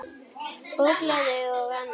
Ógleði og annað.